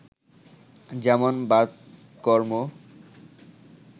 যেমন বাতকর্ম